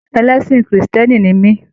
Ẹlẹsin kírísítẹ́nì ní mi.